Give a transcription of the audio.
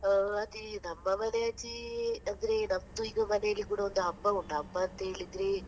ಹಾ ಅದೇ ನಮ್ಮ ಮನೆ ಆಚೆ ಅಂದ್ರೆ ನಮ್ದು ಈಗ ಮನೆಯಲ್ಲಿ ಕೂಡ ಹಬ್ಬ ಉಂಟು, ಹಬ್ಬ ಎಂತ ಹೇಳಿದ್ರೆ.